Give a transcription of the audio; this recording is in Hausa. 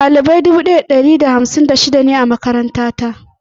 Ɗalibai dubu daya da ɗari da hamsin da shida ne a makaranta ta.